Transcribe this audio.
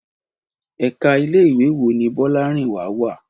Ẹ̀ka ilé ìwé wo ni Bọ́lárìnwá wá?